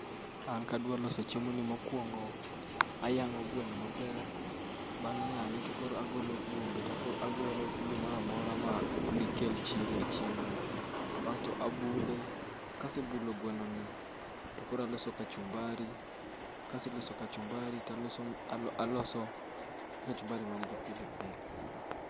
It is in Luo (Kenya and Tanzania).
An kadwa loso chiemoni mokuongo, ayang'o gweno ni maber, bang' yang' to agolo bwombe agolo gimoro amora madikel chilo e chiemono. Kasto abule. Kasebnulo gwenoni to koro aloso kachumbari, aloso kachumbari man gi pili pi.